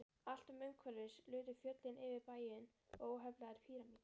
Allt umhverfis lutu fjöllin yfir bæinn, óheflaðir pýramídar.